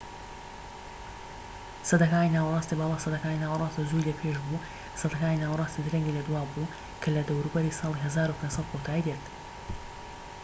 سەدەکانی ناوەڕاستی باڵا سەدەکانی ناوەڕاستی زووی لە پێش بوو و سەدەکانی ناوەڕاستی درەنگی لە دوا بوو کە لە دەوروبەری ساڵی 1500 کۆتایی دێت